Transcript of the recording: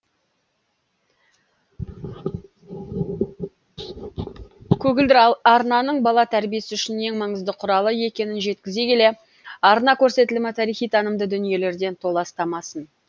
көгілдір арнаның бала тәрбиесі үшін ең маңызды құралы екенін жеткізе келе арна көрсетілімі тарихи танымды дүниелерден толастамасын